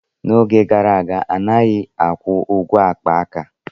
N'oge gara aga, a naghị akwụ ụgwọ akpa aka.